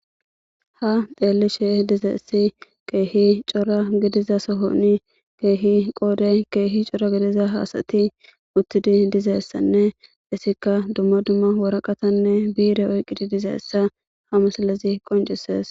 Ha xelishe dizayisi kehi cora dalga sohoni qodan kehi cora gidiza asati utidayisanne etika banta kushen woraqathanne bire oyikizayisa beses